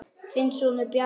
Þinn sonur, Bjarni.